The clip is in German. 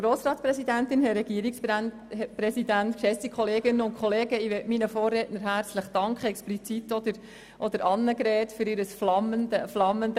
Ich danke meinen Vorrednerinnen und Vorrednern, speziell Grossrätin Hebeisen, für ihr flammendes Referat.